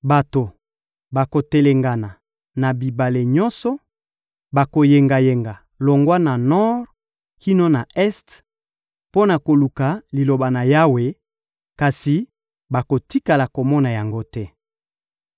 Bato bakotelengana na bibale nyonso, bakoyengayenga longwa na nor kino na este mpo na koluka Liloba na Yawe, kasi bakotikala komona yango te.